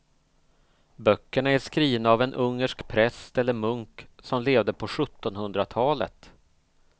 Böckerna är skrivna av en ungersk präst eller munk som levde på sjuttonhundratalet.